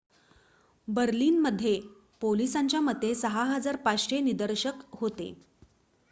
बर्लिनमध्ये पोलिसांच्या मते 6,500 निदर्शक होते